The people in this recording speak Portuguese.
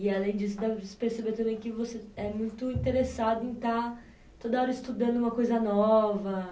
E além disso, dá para perceber também que você é muito interessado em estar toda hora estudando uma coisa nova.